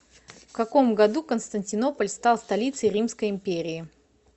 в каком году константинополь стал столицей римской империи